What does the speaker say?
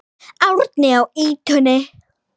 Árni á ýtunni.